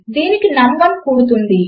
దీనికి నమ్1 కూడుతుంది